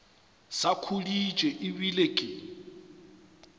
sa khuditše e bile ke